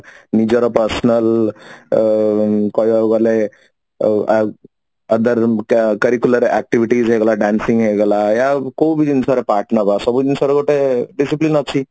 ନିଜର personal ଅ କହିବାକୁ ଗଲେ ଆ ଆଉ other curricular activities ହେଇଗଲା dancing ହେଇଗଲା ଏୟା ଆଉ କୋଉ ବି ଜିନିଷ ର part ନେବ ସବୁ ଜିନିଷ ର ଗୋଟେ discipline ଅଛି